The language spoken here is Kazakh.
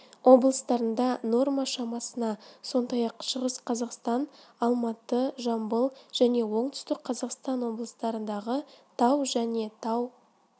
облыстарында норма шамасында сондай-ақ шығыс қазақстан алматы жамбыл және оңтүстік қазақстан облыстарындағы тау және тау